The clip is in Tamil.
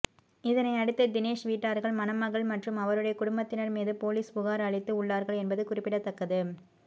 இதனை அடுத்து தினேஷ் வீட்டார்கள் மணமகள் மற்றும் அவருடைய குடும்பத்தினர் மீது போலீஸ் புகார் அளித்து உள்ளார்கள் என்பது குறிப்பிடத்தக்கது